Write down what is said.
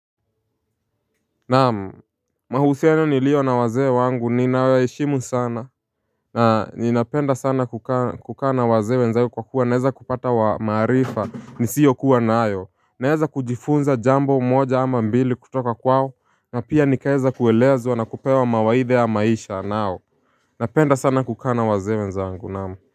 Naam, mahusiano niliyo na wazee wangu ninayoheshimu sana na ninapenda sana kukaa na wazee wenzao kwa kuwa naweza kupata maarifa nisiyo kuwa nayo Naeza kujifunza jambo moja ama mbili kutoka kwao na pia nikaweza kuelezwa na kupewa mawaidhaya maisha nao Napenda sana kukaa wazee wenzangu naam.